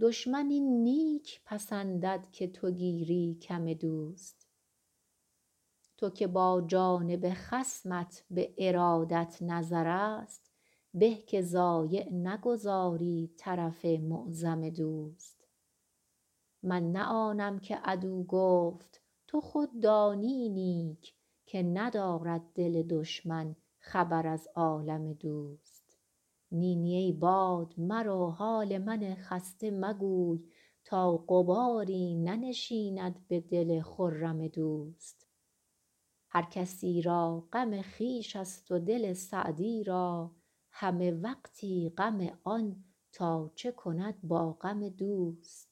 دشمن این نیک پسندد که تو گیری کم دوست تو که با جانب خصمت به ارادت نظرست به که ضایع نگذاری طرف معظم دوست من نه آنم که عدو گفت تو خود دانی نیک که ندارد دل دشمن خبر از عالم دوست نی نی ای باد مرو حال من خسته مگوی تا غباری ننشیند به دل خرم دوست هر کسی را غم خویش ست و دل سعدی را همه وقتی غم آن تا چه کند با غم دوست